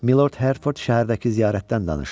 Məlord Herford şəhərdəki ziyarətdən danışır.